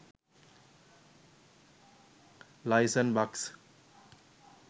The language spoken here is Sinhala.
license bux